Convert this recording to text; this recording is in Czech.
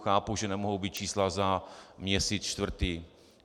Chápu, že nemohou být čísla za měsíc čtvrtý.